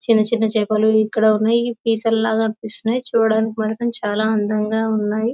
చిన్నచిన్నచేపలు ఇక్కడ ఉన్నాయి. క్రియేచర్ లాగా అనిపిస్తున్నాయి.చూడడానికి మాత్రమ్ చాలా అందంగా ఉన్నాయి.